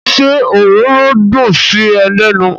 Ṣé ororo dùn sí ẹ lẹ́nu?